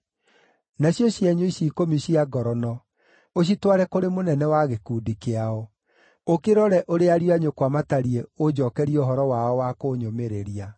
Nacio cienyũ ici ikũmi cia ngorono ũcitware kũrĩ mũnene wa gĩkundi kĩao. Ũkĩrore ũrĩa ariũ a nyũkwa matariĩ ũnjookerie ũhoro wao wa kũnyũmĩrĩria.